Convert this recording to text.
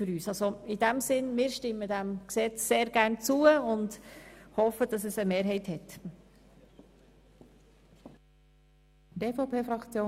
In diesem Sinne stimmen wir dem vorliegenden Gesetz sehr gerne zu und hoffen, dass eine Mehrheit dies ebenfalls tun wird.